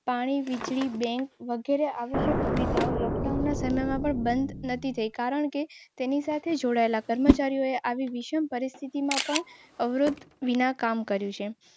પછી અનાજ ફળો વગેરે જેવી આવશ્યક ચીજવસ્તુ લોકડાઉન સમયમાં પણ મળી રહી છે.